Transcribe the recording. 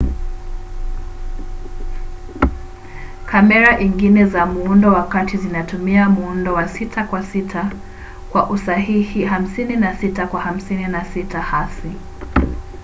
kamera ingine za muundo wa kati zinatumia muundo wa 6 kwa 6 kwa usahihi 56 kwa 56 hasi